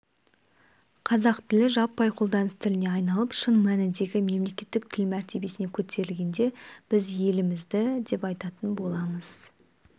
қазақ тілі жаппай қолданыс тіліне айналып шын мәніндегі мемлекеттік тіл мәртебесіне көтерілгенде біз елімізді деп атайтын боламыз